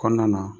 Kɔnɔna na